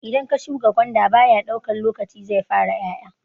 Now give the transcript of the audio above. Idan ka shuka gwanda baya daukan lokaci zai fara 'ya'ya.